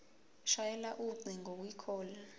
shayela ucingo kwicall